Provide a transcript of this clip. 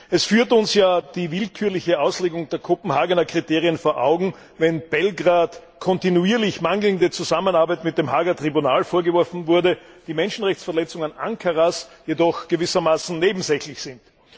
Es führt uns ja die willkürliche Auslegung der Kopenhagener Kriterien vor Augen, wenn Belgrad kontinuierlich mangelnde Zusammenarbeit mit dem Haager Tribunal vorgeworfen wurde, die Menschenrechtsverletzungen Ankaras jedoch gewissermaßen nebensächlich sind.